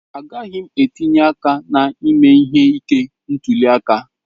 Agaghị m etinye aka na ime ihe ike ntuli aka.